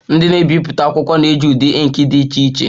Ndị na-ebipụta akwụkwọ na-eji ụdị ink dị iche iche